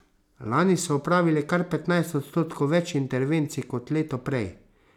Lani so opravili kar petnajst odstotkov več intervencij kot lepo prej.